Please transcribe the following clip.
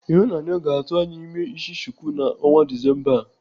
Ịhụnanya ga-atụ anya ime isi chuku n'ọnwa Disemba a.